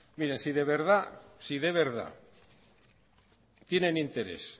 miren si de verdad tienen interés